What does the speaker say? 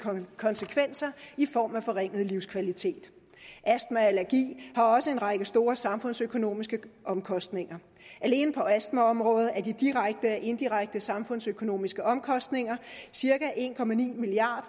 konsekvenser i form af forringet livskvalitet astma og allergi har også en række store samfundsøkonomiske omkostninger alene på astmaområdet er de direkte og indirekte samfundsøkonomiske omkostninger cirka en milliard